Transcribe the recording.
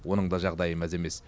оның да жағдайы мәз емес